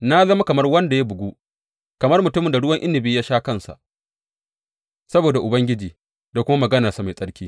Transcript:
Na zama kamar wanda ya bugu, kamar mutumin da ruwan inabi ya sha kansa, saboda Ubangiji da kuma maganarsa mai tsarki.